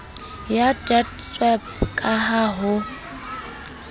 ya deedsweb ka ha ho